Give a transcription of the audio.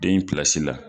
Den in pilasi la